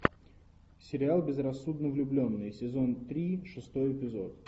сериал безрассудно влюбленные сезон три шестой эпизод